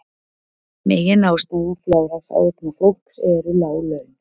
Meginástæða fjárhagsáhyggna fólks eru lág laun